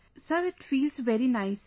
Sir it feels very nice